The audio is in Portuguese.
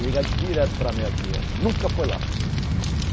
Liga direto para mim aqui, olha. Nunca foi lá.